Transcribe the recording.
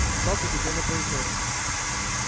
сатт удивлённо произнёс